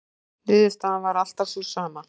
Niðurstaðan var alltaf sú sama.